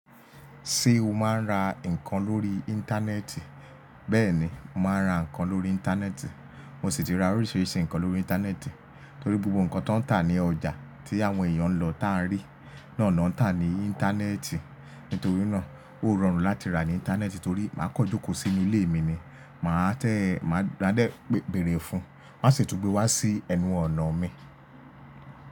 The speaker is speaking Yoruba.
Ṣé o máa ń ra nǹkan lórí Íńtánẹ́ẹ̀tì? Bẹ́ẹ̀ni, mà á ra nǹkan lórí Íńtánẹ́ẹ̀tì. Mo sì ti ra oríṣìíríṣìí nǹkan lórí Íńtánẹ́ẹ̀tì torí gbogbo nǹkan tó ń tà ní ọjà tí àwọn èèyàn ń lọ tá n rí, náà ni wọ́n ń tà ní Íńtánẹ́ẹ̀tì. Nítorí náà, ó rọrùn láti rà ní Íńtánẹ́ẹ̀tì torí mà á kọ jókòó sí ilé mi ni, mà á tẹ́ ẹ, mà á dẹ́ bẹ̀rẹ̀ fún un, won á sì tún gbé wá sí ẹnu ọ̀nà mi.